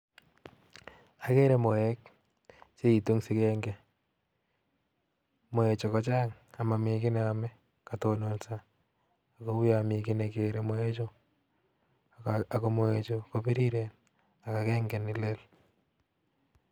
Akere moek chee itun eng sigeke moek chuu kochang amamii kii nee amee kaa tononso ak unyon Mii kii nee kere ak ko moe chuu kobiriren ak agenge nee leel